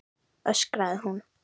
öskraði hún.